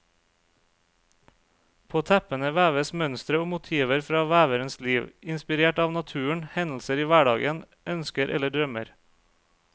På teppene veves mønstre og motiver fra veverens liv, inspirert av naturen, hendelser i hverdagen, ønsker eller drømmer.